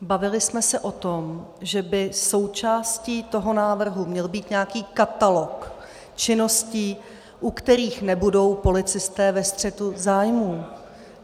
Bavili jsme se o tom, že by součástí toho návrhu měl být nějaký katalog činností, u kterých nebudou policisté ve střetu zájmů.